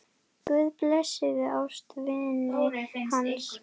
Guð blessi ástvini hans.